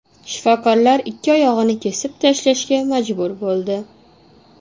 Shifokorlar ikki oyog‘ini kesib tashlashga majbur bo‘ldi.